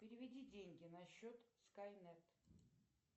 переведи деньги на счет скайнет